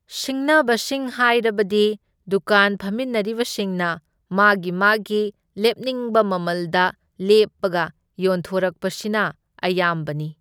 ꯁꯤꯡꯅꯕꯁꯤꯡ ꯍꯥꯏꯔꯕꯗꯤ ꯗꯨꯀꯥꯟ ꯐꯝꯃꯤꯟꯅꯔꯤꯕꯁꯤꯡꯅ ꯃꯥꯒꯤ ꯃꯥꯒꯤ ꯂꯦꯞꯅꯤꯡꯕ ꯃꯃꯜꯗ ꯂꯦꯞꯄꯒ ꯌꯣꯟꯊꯣꯔꯛꯄꯁꯤꯅ ꯑꯌꯥꯝꯕꯅꯤ꯫